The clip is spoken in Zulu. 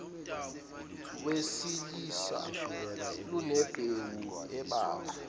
wesilisa lunembewu ebalwa